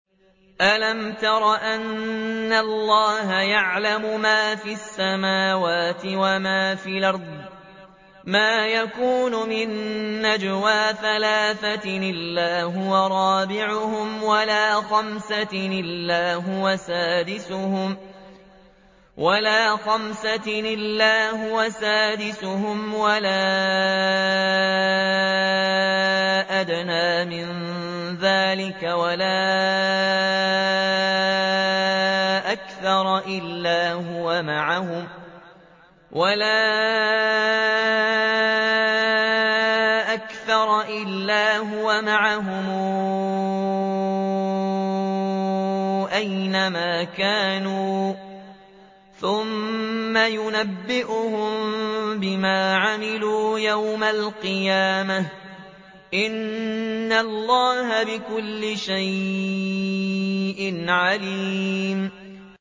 أَلَمْ تَرَ أَنَّ اللَّهَ يَعْلَمُ مَا فِي السَّمَاوَاتِ وَمَا فِي الْأَرْضِ ۖ مَا يَكُونُ مِن نَّجْوَىٰ ثَلَاثَةٍ إِلَّا هُوَ رَابِعُهُمْ وَلَا خَمْسَةٍ إِلَّا هُوَ سَادِسُهُمْ وَلَا أَدْنَىٰ مِن ذَٰلِكَ وَلَا أَكْثَرَ إِلَّا هُوَ مَعَهُمْ أَيْنَ مَا كَانُوا ۖ ثُمَّ يُنَبِّئُهُم بِمَا عَمِلُوا يَوْمَ الْقِيَامَةِ ۚ إِنَّ اللَّهَ بِكُلِّ شَيْءٍ عَلِيمٌ